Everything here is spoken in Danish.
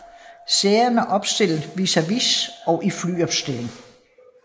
Sæderne er opstillet vis a vis og i flyopstilling